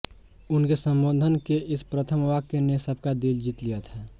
उनके संबोधन के इस प्रथम वाक्य ने सबका दिल जीत लिया था